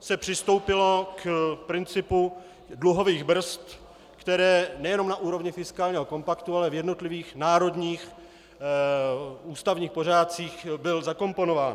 se přistoupilo k principu dluhových brzd, který nejenom na úrovni fiskálního kompaktu, ale v jednotlivých národních ústavních pořádcích byl zakomponován.